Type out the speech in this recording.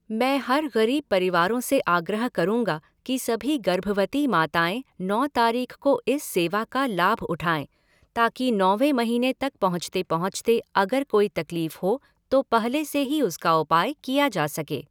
मैं हर ग़रीब परिवारों से आग्रह करूँगा कि सभी गर्भवती माताएं नौ तारीख़ को इस सेवा का लाभ उठाएँ ताकि नौवे महीने तक पहुँचते पहुँचते अगर कोई तकलीफ़ हो, तो पहले से ही उसका उपाय किया जा सके।